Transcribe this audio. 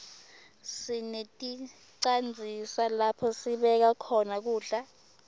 sineticandzisa lapho sibeka khona kudla